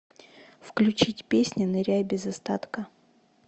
включить песня ныряй без остатка